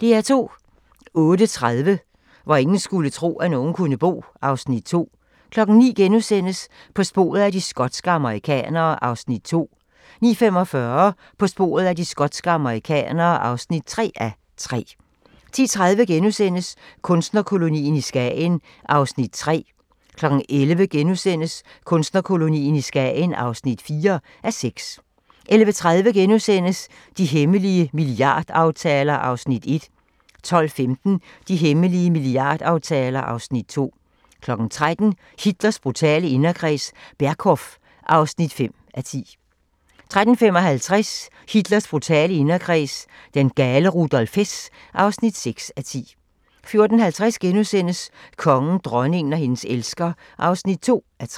08:30: Hvor ingen skulle tro, at nogen kunne bo (Afs. 2) 09:00: På sporet af de skotske amerikanere (2:3)* 09:45: På sporet af de skotske amerikanere (3:3) 10:30: Kunstnerkolonien i Skagen (3:6)* 11:00: Kunstnerkolonien i Skagen (4:6)* 11:30: De hemmelige milliardaftaler (Afs. 1)* 12:15: De hemmelige milliardaftaler (Afs. 2) 13:00: Hitlers brutale inderkreds – Berghof (5:10) 13:55: Hitlers brutale inderkreds – den gale Rudolf Hess (6:10) 14:50: Kongen, dronningen og hendes elsker (2:3)*